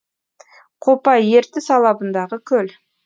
қопа ертіс алабындағы көл